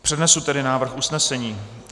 Přednesu tedy návrh usnesení.